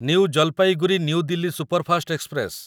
new Jalpaiguri New Delhi superfast express